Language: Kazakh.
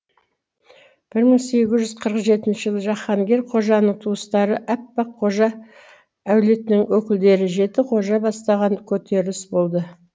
бір мың сегіз жүз қырық жетінші жаһангер қожаның туыстары әппақ қожа әулетінің өкілдері жеті қожа бастаған көтеріліс болды